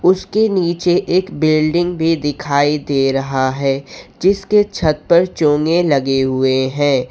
उसके नीचे एक बिल्डिंग भी दिखाई दे रहा है जिसके छत पर चोंगे लगे हुए हैं।